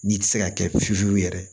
N'i ti se ka kɛ fiye fiye yɛrɛ